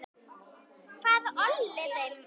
Hvað olli þeim?